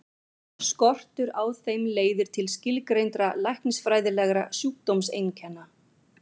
Skortur á þeim leiðir til skilgreindra læknisfræðilegra sjúkdómseinkenna.